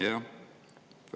Jah!